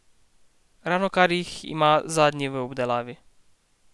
Ravnokar jih ima zadnji v obdelavi.